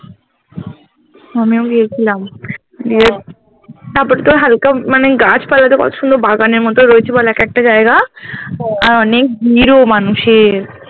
আমিও গিয়েছিলাম গিয়ে তারপর তোর হালকা মানে গাছপালা তো পছন্দ বাগানের মতো রয়েছে একেকটা জায়গা অনেক ভিড় ও মানুষের